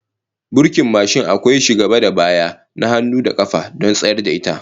Burkin mashin akwai shi gaba da baya, na hannu da kafa, don tsayar da ita